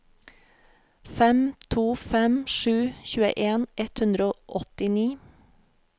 fem to fem sju tjueen ett hundre og åttini